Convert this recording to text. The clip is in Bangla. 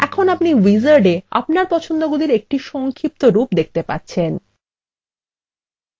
এখন আপনি উইজার্ডএ আপনার পছন্দগুলির একটি সংক্ষিপ্তরূপ দেখতে পাচ্ছেন